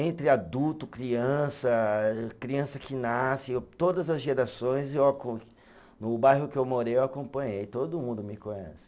Entre adulto, criança, criança que nasce, todas as gerações, eu co, no bairro que eu morei eu acompanhei, todo mundo me conhece.